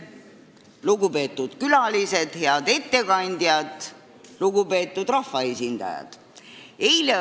Lugupeetud külalised, head ettekandjad ja rahvaesindajad!